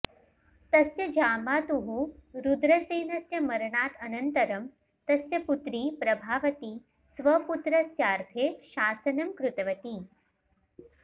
तस्य जामातुः रुद्रसेनस्य मरणात् अनन्तरम् तस्य पुत्री प्रभावती स्वपुत्रस्यार्थे शासनम् कृतवती